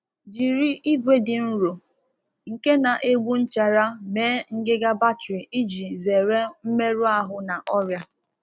Jiri ígwè dị nro na nke na-adịghị eche oghere maka akpa ígwè ka e wee zere mmerụ na ọrịa.